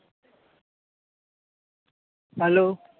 hello